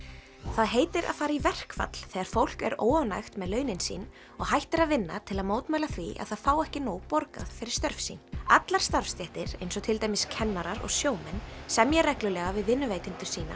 það heitir að fara í verkfall þegar fólk er óánægt með launin sín og hættir að vinna til að mótmæla því að það fái ekki nóg borgað fyrir störf sín allar starfstéttir eins og til dæmis kennarar og sjómenn semja reglulega við vinnuveitendur sína